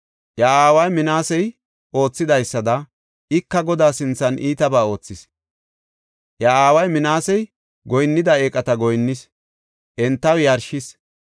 Iya aaway Minaasey oothidaysada ika Godaa sinthan iitabaa oothis. Iya aaway Minaasey goyinnida eeqata goyinnis; entaw yarshis.